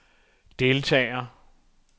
deltager